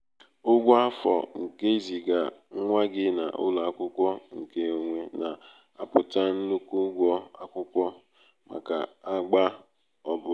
ụgwọ afọ nke iziga nwa gị n'ụlọ akwụkwọ nke onwe na aputa nnukwu ụgwọ akwukwo akwukwo maka agba obula